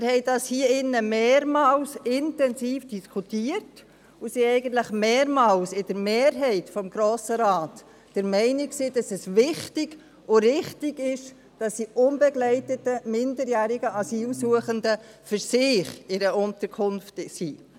Wir haben dies hier in diesem Saal mehrmals intensiv diskutiert, und die Mehrheit des Grossen Rates war mehrmals der Meinung, es sei wichtig und richtig, dass die unbegleiteten minderjährigen Asylsuchenden in einer Unterkunft für sich sind.